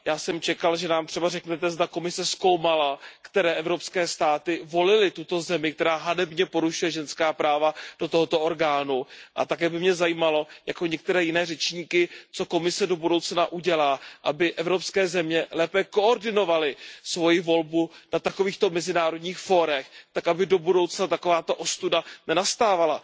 Já jsem čekal, že nám třeba řeknete, zda Komise zkoumala, které evropské státy volily tuto zemi, která hanebně porušuje ženská práva, do tohoto orgánu, a také by mě zajímalo, jako některé jiné řečníky, co Komise do budoucna udělá, aby evropské země lépe koordinovaly svoji volbu na takovýchto mezinárodních fórech tak, aby do budoucna takováto ostuda nenastávala.